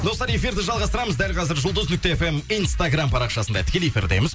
достар эфирді жалғастырамыз дәл қазір жұлдыз нүкте фм инстаграм парақшасында тікелей эфирдеміз